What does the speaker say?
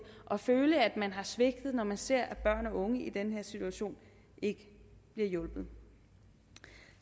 og føle at man har svigtet når man ser at børn og unge i den her situation ikke bliver hjulpet